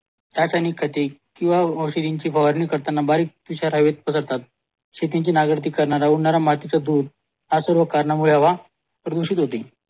रासायनिक खते किंवा औषधांची फवार ना कट्टींन्ग किंवा सिरिंजची फवारणी करताना बारीक विषारीयुक्त पदार्थ शेतीची नांगरती करताना उडणारा मातीचा धूळ या सर्व कारणामुळे हवा प्रदूषित होतील